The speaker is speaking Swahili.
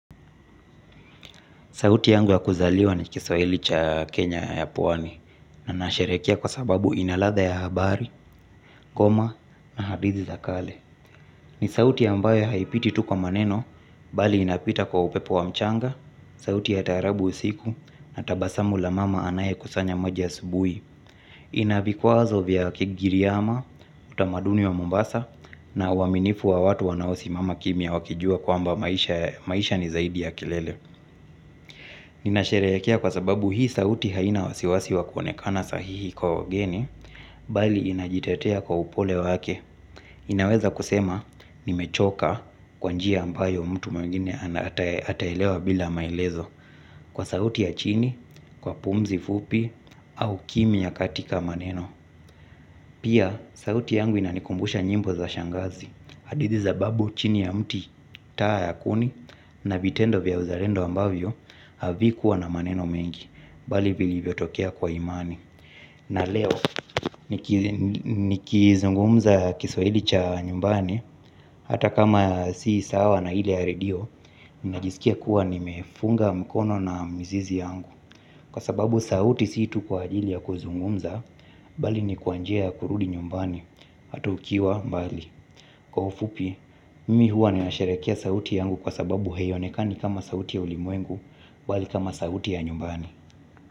Sauti yangu ya kuzaliwa ni kiswahili cha Kenya ya pwani na nasherekea kwa sababu ina ladha ya habari, koma na hadithi za kale. Ni sauti ambayo aipiti tu kwa maneno, bali inapita kwa upepo wa mchanga, sauti ya tarabu usiku na tabasamu la mama anaye kusanya maji asubui. Ina vikwazo vya kigiriama, utamaduni wa Mombasa na uaminifu wa watu wanaosi mama kimya wakijua kwamba maisha ni zaidi ya kilele. Inasherehekea kwa sababu hii sauti haina wasiwasi wa kuonekana sahihi kwa wageni bali inajitetea kwa upole wake. Inaweza kusema nimechoka kwa njia ambayo mtu mwingine ataelewa bila maelezo. Kwa sauti ya chini, kwa pumzi fupi, au kimya katika maneno. Pia sauti yangu inanikumbusha nyimbo za shangazi hadithi za babu chini ya mti taa ya kuni na vitendo vya uzarendo ambavyo havi kuwa na maneno mengi, bali vilivyo tokea kwa imani. Na leo nikizungumza kiswahidi cha nyumbani hata kama si sawa na ile ya redio, ninajiskia kuwa nimefunga mkono na mizizi yangu. Kwa sababu sauti si tu kwa ajili ya kuzungumza, bali ni kwa njia ya kurudi nyumbani hata ukiwa mbali. Kwa ufupi, mimi huwa nasharekea sauti yangu kwa sababu haionekani kama sauti ya ulimwengu bali kama sauti ya nyumbani.